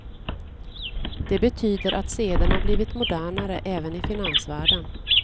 Det betyder att sederna blivit modernare även i finansvärlden.